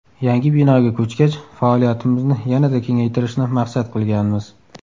Yangi binoga ko‘chgach faoliyatimizni yanada kengaytirishni maqsad qilganmiz.